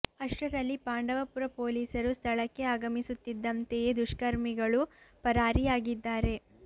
ಅಷ್ಟರಲ್ಲಿ ಪಾಂಡವಪುರ ಪೊಲೀಸರು ಸ್ಥಳ್ಕಕೆ ಆಗಮಿಸು ತ್ತಿದ್ದಂತೆಯೇ ದುಷ್ಕರ್ಮಿಗಳು ಪರಾರಿಯಾಗಿ ದ್ದಾರೆ